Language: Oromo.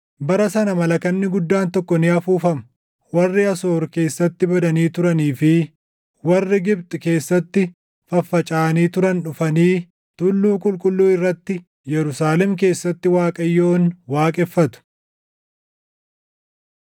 Bara sana malakanni guddaan tokko ni afuufama. Warri Asoor keessatti badanii turanii fi warri Gibxi keessatti faffacaʼanii turan dhufanii tulluu qulqulluu irratti Yerusaalem keessatti Waaqayyoon waaqeffatu.